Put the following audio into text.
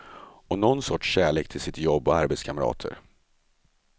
Och nån sorts kärlek till sitt jobb och arbetskamrater.